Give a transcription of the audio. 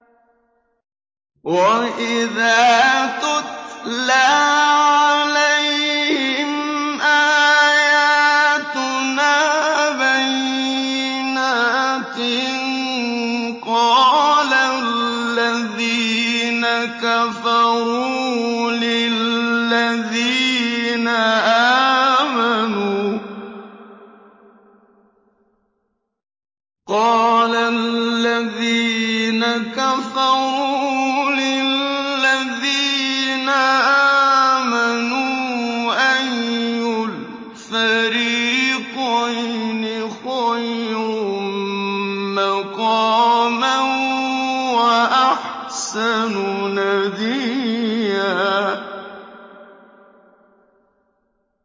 وَإِذَا تُتْلَىٰ عَلَيْهِمْ آيَاتُنَا بَيِّنَاتٍ قَالَ الَّذِينَ كَفَرُوا لِلَّذِينَ آمَنُوا أَيُّ الْفَرِيقَيْنِ خَيْرٌ مَّقَامًا وَأَحْسَنُ نَدِيًّا